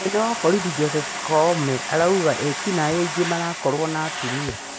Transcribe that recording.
Mũnene wa borithi Joseph koome arauga eki naĩ aingĩ marakorwa na atumia